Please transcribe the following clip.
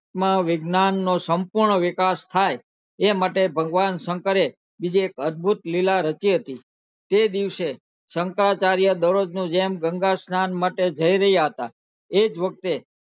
વિજ્ઞાન નો સંપૂર્ણ વિકાસ થાય એ માટે ભગવાન શંકરે બીજી એક અદભુત લીલા રચી હતી તે દિવસે શંકરાચાર્ય દરોજ ની જેમ ગંગા સ્નાન માટે જય રહ્યા હતા એજ વખતે